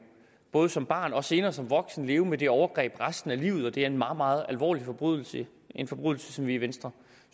både som barn og senere som voksen leve med det overgreb resten af livet det er en meget meget alvorlig forbrydelse en forbrydelse som vi i venstre